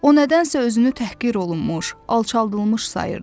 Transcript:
O nədənsə özünü təhqir olunmuş, alçadılmış sayırdı.